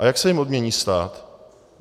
A jak se jim odmění stát?